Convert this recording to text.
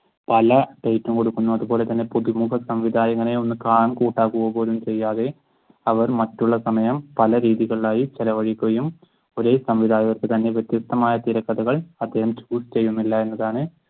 പല ഡേറ്റും കൊടുക്കുന്നുണ്ട്. അതുപോലെ തന്നെ പുതുമുഖ സംവിധായകനെ ഒന്ന് കാണാൻകൂട്ടാകുക പോലും ചെയ്യാതെ അവർ മറ്റുള്ള സമയം പലരീതികളിലായി ചിലവാക്കുകയും ഒരേ സംവിധായകർക്ക് തന്നെ വ്യത്യസ്തമായ തിരക്കഥകൾ അദ്ദേഹം shoot ചെയ്യുന്നില്ല എന്നതാണ്